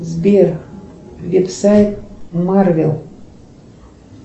сбер веб сайт марвел